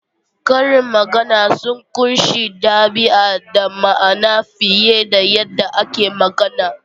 Karin magana sun ƙunshi ɗabi'a da ma'ana fiye da yadda ake magana.